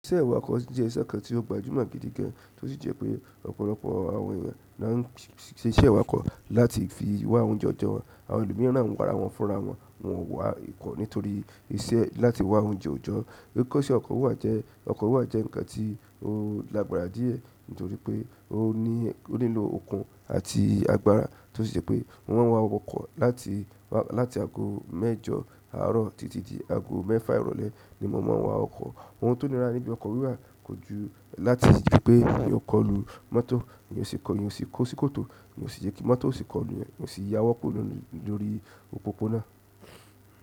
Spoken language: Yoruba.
Iṣẹ́ iwakọ̀ jẹ́ iṣẹ́ kan tí ó gbajúmọ̀ gidi gan, tí ó sì jẹ́ pé ọ̀pọ̀lọpọ̀ àwọn ènìyàn nà ń ṣe iṣẹ́ awakọ̀ láti fi wá oúnjẹ ọjọ́ wọn. Àwọn èlomiran ń wára wọ́n fúnra wọ́n, wọ́n wá ikọ́ nítorí iṣẹ́ láti wá oúnjẹ òòjọ́. Kikọ́ṣẹ́ ọkọ̀ wíwà jẹ́, ọkọ̀ wíwà jẹ́ ǹkan tí ó lágbára díẹ̀ nítorí pé ó ní, ó nílò okun àti agbára, tí ó sì jẹ́ pé wọ́n máa wá ọkọ̀ láti, wá láti ago mẹ́jọ àárọ̀ títí di ago mẹ́fà ìrọ̀lẹ́ ni mo máa n wá ọkọ̀. Ohun tó nira níbí ọkọ̀ wíwà kò ju láti ri pé ẹni ọ kọ lu mọ́tò, ènìyàn o sì kọlu-- ènìyàn o sì kó sí kòtò, ènìyàn o sì jẹ kí mọ́tò sì kọlu ènìyàn, ko sì yáwọ kúrò lórí òpópó-ònà.